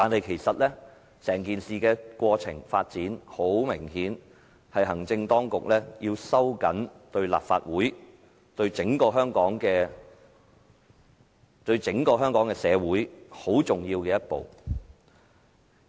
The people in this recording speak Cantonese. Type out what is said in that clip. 其實，整件事的過程、發展，明顯是行政當局要收緊立法會，以至整個香港社會的言論空間非常重要的一步。